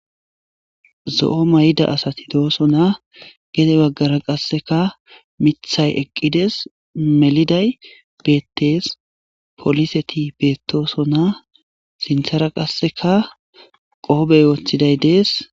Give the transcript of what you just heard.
Zo7o mayda asati dooso na gede baggara qasseka mithay eqqides meliday beettees poliseti beettoosona sinthara qasseka qoobey woththiday de7es.